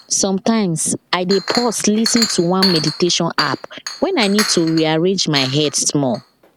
sometimes i dey pause lis ten to one meditation app when i need to rearrange my head small